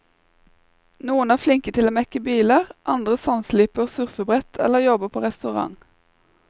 Noen er flinke til å mekke biler, andre sandsliper surfebrett eller jobber på restaurant.